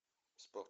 спорт